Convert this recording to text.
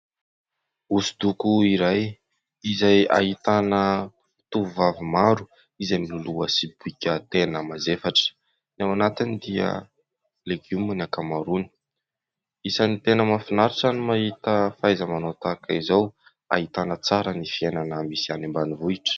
Hosodoko iray izay ahitana tovovavy maro izay mololoha sobika tena mavesatra. Ny ao anatiny dia legioma ny ankamaroany. Isany tena mahafinaritra ny mahita fahaiza-manao tahaka izao, ahitana tsara ny fiainana misy any ambanivohitra.